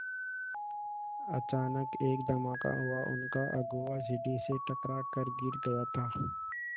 अचानक एक धमाका हुआ उनका अगुआ सीढ़ी से टकरा कर गिर गया था